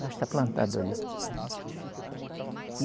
Lá está plantado ali.